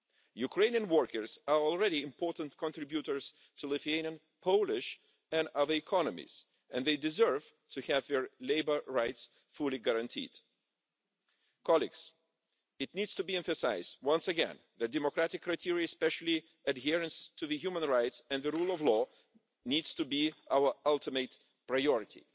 Ukrainian workers are already important contributors to Lithuanian, Polish and other economies, and they deserve to have their labour rights fully guaranteed. It needs to be emphasised once again that democratic criteria, especially adherence to human rights and the rule of law, need to be our ultimate priority.